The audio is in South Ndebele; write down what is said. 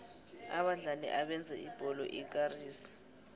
abadlali abenza ibholo ikarise